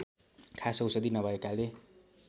खास औषधि नभएकाले